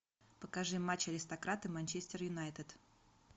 покажи матч аристократы манчестер юнайтед